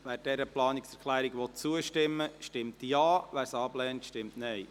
Wer dieser Planungserklärung zustimmen will, stimmt Ja, wer sie ablehnt, stimmt Nein.